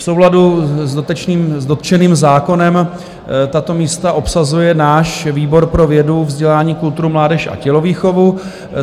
V souladu s dotčeným zákonem tato místa obsazuje náš výbor pro vědu, vzdělání, kulturu, mládež a tělovýchovu.